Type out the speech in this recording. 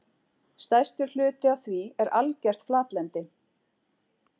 Stærstur hluti af því er algert flatlendi.